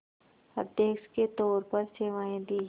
अध्यक्ष के तौर पर सेवाएं दीं